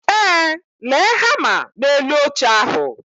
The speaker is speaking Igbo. Ee, lee hama na elu oche ahu